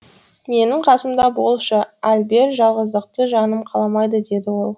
менің қасымда болшы альбер жалғыздықты жаным қаламайды деді ол